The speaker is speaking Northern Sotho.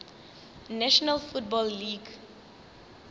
national football league